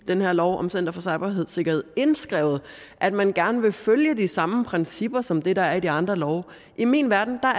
den her lov om center for cybersikkerhed indskrevet at man gerne vil følge de samme principper som dem der er de andre love i min verden